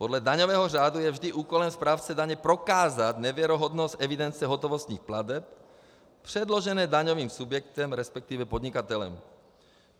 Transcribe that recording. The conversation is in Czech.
Podle daňového řádu je vždy úkolem správce daně prokázat nevěrohodnost evidence hotovostních plateb předložené daňovým subjektem, respektive podnikatelem.